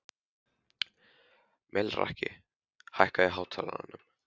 Melrakki, hækkaðu í hátalaranum.